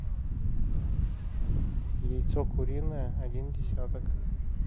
яйцо куриное один десяток